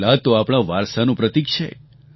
કિલ્લા તો આપણા વારસાનું પ્રતીક છે